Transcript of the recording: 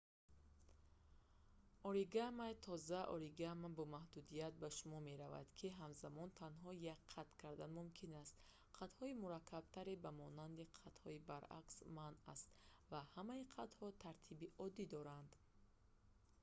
оригами тоза оригами бо маҳдудият ба шумор меравад ки ҳамзамон танҳо як қат кардан мумкин аст қатҳои мураккабтаре ба монанди қатҳои баръакс манъ аст ва ҳамаи қатҳо тартиби оддӣ доранд